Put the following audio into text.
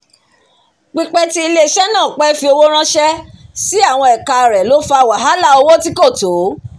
pípẹ́ tí ilé-iṣẹ́ náà pẹ́ fi owó ránṣẹ́ sí àwọn ẹ̀ka rẹ̀ ló fà wàhálà owó tí kò tó